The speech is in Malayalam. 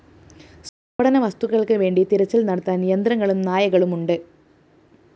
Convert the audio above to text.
സ്‌ഫോടനവസ്തുക്കള്‍ക്കുവേണ്ടി തിരച്ചില്‍ നടത്താന്‍ യന്ത്രങ്ങളും നായകളും ഉണ്ട്‌